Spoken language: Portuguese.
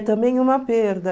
também uma perda.